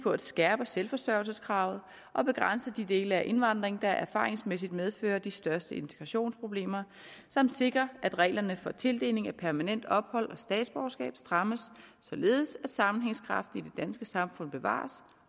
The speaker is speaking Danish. at skærpe selvforsørgelseskravet og begrænse de dele af indvandringen der erfaringsmæssigt medfører de største integrationsproblemer samt sikre at reglerne for tildeling af permanent ophold og statsborgerskab strammes således at sammenhængskraften i danske samfund bevares